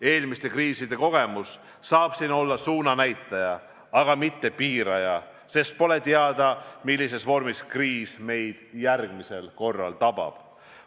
Eelmiste kriiside kogemus saab siin olla suunanäitaja, aga mitte piiraja – pole ju teada, millises vormis kriis meid järgmisena tabab.